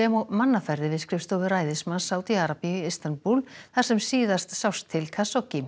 og mannaferðir við skrifstofu ræðismanns Sádi Arabíu í Istanbúl þar sem síðast sást til